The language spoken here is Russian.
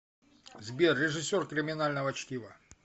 сбер режиссер криминального чтива